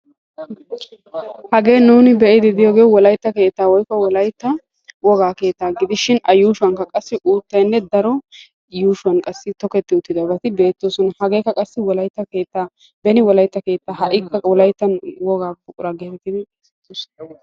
Hagee nuuni be'iidi de'iyoogee wolaytta keettaa woykko wolaytta wogaa keettaa gidisihin a yuushshuwaanikka uuttayinne qassi daro yuushshuwanikka toketti uttidabati beettoosona. hagee qassi wolaytta keettaa ha'i wolayttan wogaa buquraa geetettidi xeesettoosona.